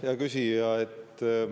Hea küsija!